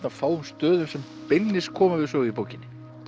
af fáum stöðum sem beinlínis koma við sögu í bókinni